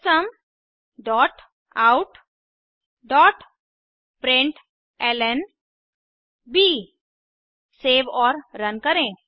system dot out dot println save और run करें